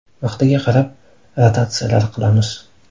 Vaqtiga qarab rotatsiyalar qilamiz.